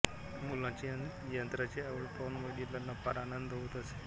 मुलाची यंत्राची आवड पाहून वडिलांना फार आनंद होत असे